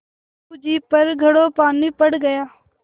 बहू जी पर घड़ों पानी पड़ गया